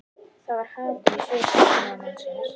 Það var hatur í svip ókunnuga mannsins.